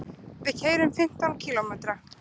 Við keyrum fimmtán kílómetra.